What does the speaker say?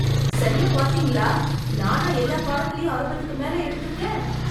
சரியா பாத்தீங்களா, நானா எல்லா பாடத்திலயும் அறுபதுக்கு மேல எடுத்திருக்கேன்?